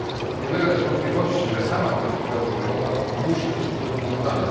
Nie ulega też wątpliwości, że sama polityka rozwojowa musi być modernizowana.